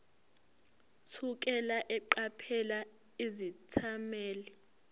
thukela eqaphela izethameli